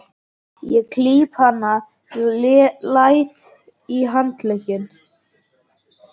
Ég klíp hana létt í handlegginn.